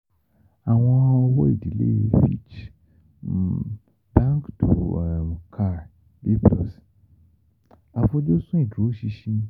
Àwọn Owó-ìdílé Fitch um Banque du um Caire 'B+ Àfojúsùn Ìdúróṣinṣin